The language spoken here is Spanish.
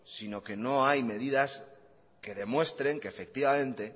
sino que no hay medidas que demuestren que efectivamente